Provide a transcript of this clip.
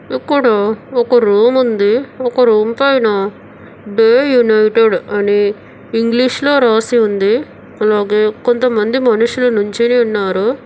అక్కడ ఒక రూమ్ ఉంది ఒక రూమ్ పైన డే యునైటెడ్ అని ఇంగ్లీష్ లో రాసి ఉంది అలాగే కొంతమంది మనుషులు నిల్చొని ఉన్నారు.